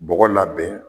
Bɔgɔ labɛn